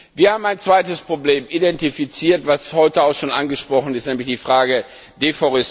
Wir haben ein zweites Problem identifiziert, das heute auch schon angesprochen wurde, nämlich die Frage der Entwaldung.